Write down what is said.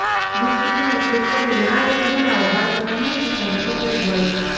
બિસ્કિટનો ઉપયોગ કરીને આ રીતે બનાવો બાળકોના મનપસંદ ચોકલેટ બોલ્સ